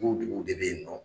Ko duguw de be yen nɔ